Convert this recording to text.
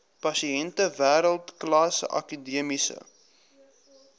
pasiënte wêreldklas akademiese